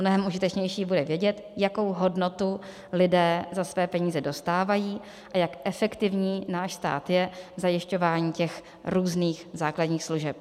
Mnohem užitečnější bude vědět, jakou hodnotu lidé za své peníze dostávají a jak efektivní náš stát je v zajišťování těch různých základních služeb.